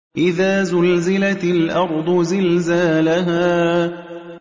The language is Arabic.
إِذَا زُلْزِلَتِ الْأَرْضُ زِلْزَالَهَا